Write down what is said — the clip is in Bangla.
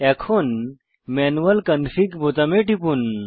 এখন ম্যানুয়াল কনফিগ বোতামে টিপুন